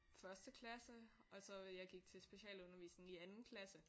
Første klasse og så jeg gik til specialundervisning i anden klasse